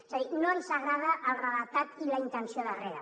és a dir no ens agrada el redactat i la intenció darrere